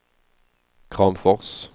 Kramfors